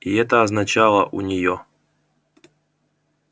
и это означало у неё